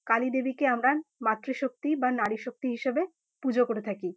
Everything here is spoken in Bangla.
কালীদেবীকে আমরা মাতৃশক্তি বা নারীশক্তি হিসেবে পূজো করে থাকি।